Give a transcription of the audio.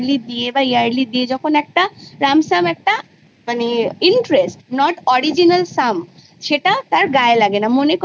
ransom একটা পায় তখন original sum তার গায় লাগে না